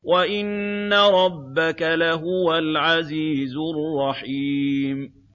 وَإِنَّ رَبَّكَ لَهُوَ الْعَزِيزُ الرَّحِيمُ